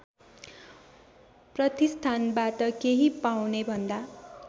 प्रतिष्ठानबाट केही पाउनेभन्दा